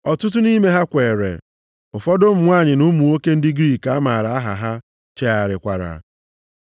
Ọtụtụ nʼime ha kweere, ụfọdụ ụmụ nwanyị na ụmụ nwoke ndị Griik a maara aha ha chegharịkwara.